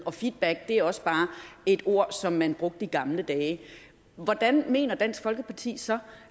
og feedback er også bare et ord som man brugte i gamle dage hvordan mener dansk folkeparti så